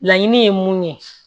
Laɲini ye mun ye